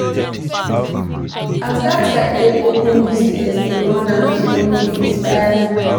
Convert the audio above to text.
As dat guy take open business dey run am alone dey inspire me.